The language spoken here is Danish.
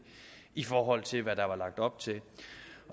i forhold til hvad der var lagt op til